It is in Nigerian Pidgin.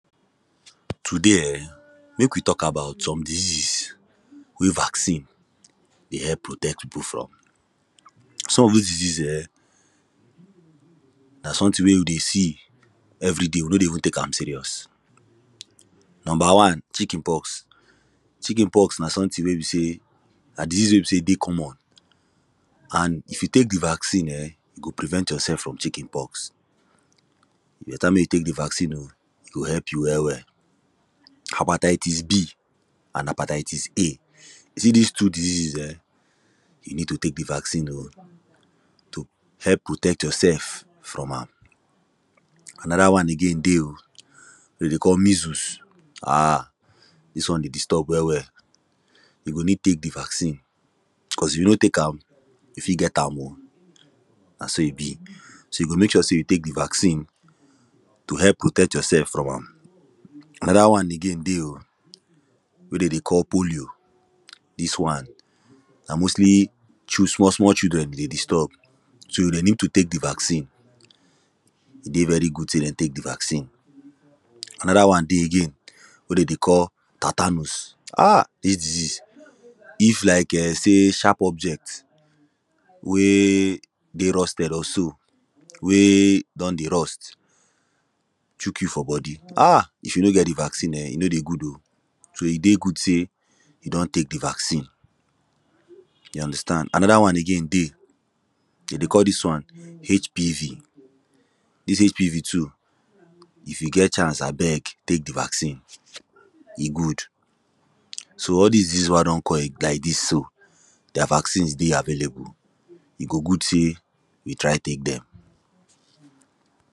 Today um, make we talk about some diseases wey vaccine dey help protect people from. Some of those disease um, na something wey we dey see everyday, we no dey even tek am serious Number one: chicken pox. Chicken pox na something wey be say, na disease wey be say e dey common. and if you tek the vaccine um, you go prevent yourself from chicken pox. E beta mek you tek the vaccine o e go help you well well, hepatitis B and hepatitis A, you see this two diseases um, you need to tek the vaccine o. to help protect yourself from am. Another one again dey o, them dey call measles um this one dey disturb well well, you go need tek the vaccine cause if you no tek am, you fit get am o, na so e be. So you go mek sure say you tek the vaccine, to help protect yourself from am another one again dey o wey dem dey call bolio this one, na mostly chooose small small children e dey disturb, so they need to tek the vaccine e dey very good thing say dey tek the vaccine. Anoda one dey again, wey them dey call tatanus um this disease, if like um, say sharp object wey dey rusted or so, wey don dey rust, chook you for body. um if you no get the vaccine um, e no dey good o. So, e dey good say you don tek the vaccine. You understand? Another one again dey them dey call this one HPV. This HPV too, if you get chance, abeg, tek the vaccine, e good. So, all this diseases wey I don call like this so, their vaccines dey available. E go good say you try tek them.